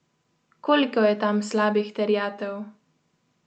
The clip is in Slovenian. Koliko je tam slabih terjatev?